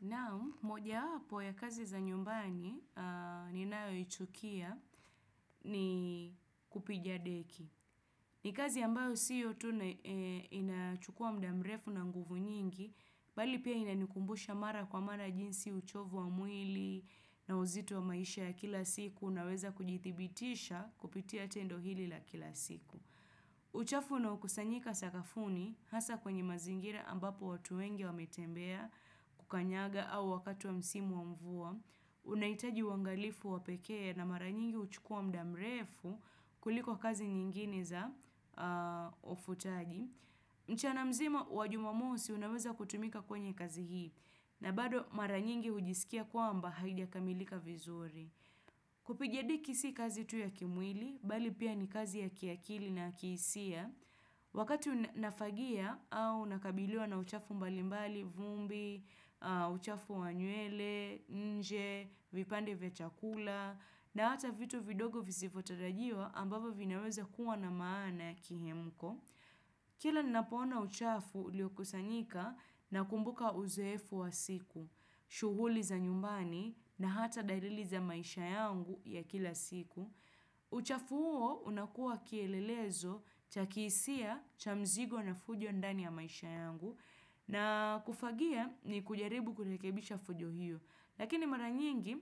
Naam, moja wapo ya kazi za nyumbani ni nayo ichukia ni kupiga deki. Ni kazi ambayo sio tuna inachukua mda mrefu na nguvu nyingi, bali pia inanikumbusha mara kwa mara jinsi uchovu wa mwili na uzito wa maisha ya kila siku una weza kujithibitisha kupitia tendo hili la kila siku. Uchafu na ukaosanyika sakafuni hasa kwenye mazingira ambapo watu wenge wame tembea kukanyaga au wakati wa msimu wa mvua unaitaji uangalifu wa peke na maranyingi uchukua mdamrefu kuliko kazi nyingine za ufutaji mchana mzima wa jumamosi unaweza kutumika kwenye kazi hii na bado mara nyingi hujisikia kwa mba haijakamilika vizuri kupiga deki si kazi tu ya kimwili bali pia ni kazi ya kiakili na kihisia wakati nafagia au nakabiliwa na uchafu mbalimbali vumbi, uchafu wanywele, nje, vipande vya chakula, na hata vitu vidogo visivotarajiwa ambapo vinaweza kuwa na maana ya kihemko. Kila ninapoona uchafu ulio kusanyika na kumbuka uzeefu wa siku, shughuli za nyumbani na hata dalili za maisha yangu ya kila siku. Uchafu huo unakua kielelezo cha kihsia cha mzigo na fujo ndani ya maisha yangu na kufagia ni kujaribu kurekebisha fujo hiyo Lakini mara nyingi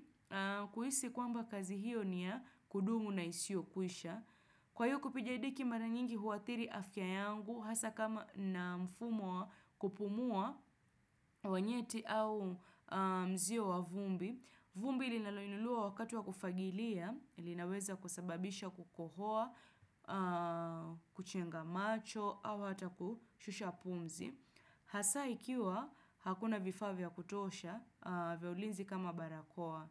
kuhisi kwamba kazi hiyo ni ya kudumu na isio kwisha Kwa hiyo kupiga deki mara nyingi huathiri afya yangu Hasa kama nina mfumo wa kupumua wanyeti au mzio wa vumbi vumbi ilinaloinuliwa wakati wa kufagilia, linaweza kusababisha kukohoa, kuchenga macho, au ata kushusha pumzi. Hasa ikiwa, hakuna vifaa vya kutosha, vya ulinzi kama barakoa.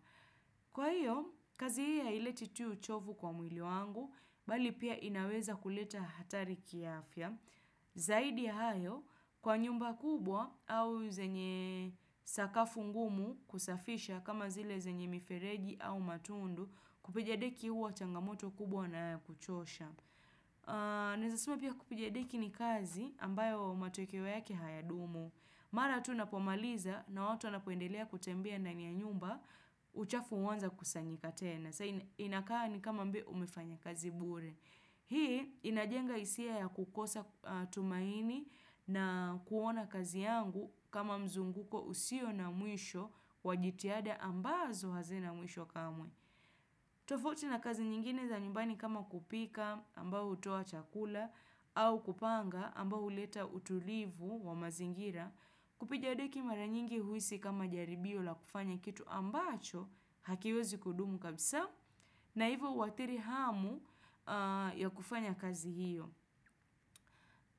Kwa hiyo, kazi hii haileti tuu chovu kwa mwili wangu, bali pia inaweza kuleta hatari kiafya. Zaidi ya hayo kwa nyumba kubwa au zenye sakafu ngumu kusafisha kama zile zenye mifereji au matundu kupigadeki huwa changamoto kubwa na ya kuchosha. Naeza sema pia kupiga deki ni kazi ambayo matokeo yake haya dumu. Mara tu napomaliza na watu wanapoendelea kutembea ndani ya nyumba uchafu huanza kusanyika tena. Sai ni inakaa ni kama mbe umefanya kazi bure. Hii inajenga isia ya kukosa tumaini na kuona kazi yangu kama mzunguko usio na mwisho wajitiada ambazo hazina mwisho kamwe. Tofauti na kazi nyingine za nyumbani kama kupika ambao hutoa chakula au kupanga ambao huleta utulivu wa mazingira. Kupiga deki mara nyingi huisi kama jaribio la kufanya kitu ambacho hakiwezi kudumu kabisa. Na hivyo huathiri hamu ya kufanya kazi hiyo.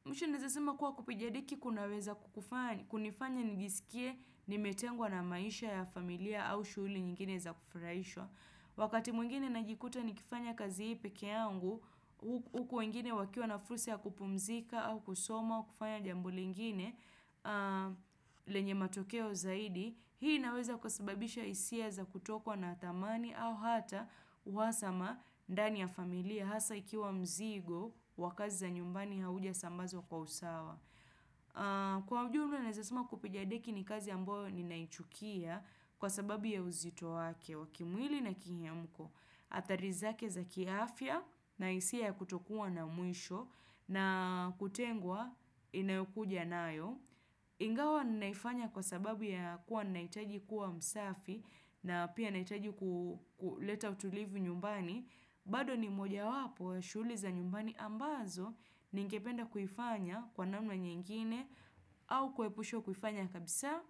Mwisho naezasema kuwa kupiga deki kunaweza kunifanya nijisikie nimetengwa na maisha ya familia au shughuli nyingine za kufraishwa. Wakati mwingine najikuta nikifanya kazi hii pekee yangu, huku wengine wakiwa na fursa ya kupumzika au kusoma, kufanya jambo lingine lenye matokeo zaidi hii inaweza kusababisha isia za kutokwa na thamani au hata uhasama ndani ya familia hasa ikiwa mzigo wa kazi za nyumbani hauja sambazwa kwa usawa kwa ujumla naeza sema kupiga deki ni kazi amboyo ni naichukia kwa sababu ya uzito wake wa kimwili na kihiamko atharizake za kiafya na isia ya kutokua na mwisho na kutengwa inayokuja nayo. Ingawa ninaifanya kwa sababu ya kuwa naitaji kuwa msafi na pia naitaji kuleta utulivu nyumbani. Bado ni moja wapo, shughuli za nyumbani ambazo, ningependa kuifanya kwa namna nyingine au kuepushwa kuifanya kabisa.